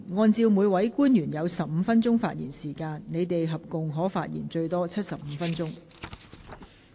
按照每位官員有15分鐘發言時間計算，他們合共可發言最多75分鐘。